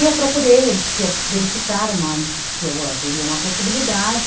E eu procurei, ele disse que ia verificar uma, se haveria uma possibilidade